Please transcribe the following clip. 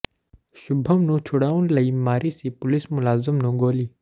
ਸ਼ੁਭਮ ਨੂੰ ਛੁਡਾਉਣ ਲਈ ਮਾਰੀ ਸੀ ਪੁਲਿਸ ਮੁਲਾਜ਼ਮ ਨੂੰ ਗੋਲੀ